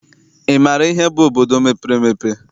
Ị maara ihe bụ obodo mepere emepe?